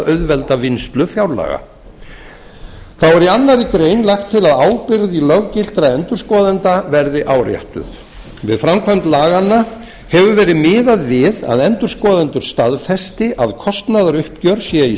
auðvelda vinnslu fjárlaga þá er í annarri grein lagt til að ábyrgð löggiltra endurskoðenda verði áréttuð við framkvæmd laganna hefur verið miðað við að endurskoðendur staðfesti að kostnaðaruppgjör sé í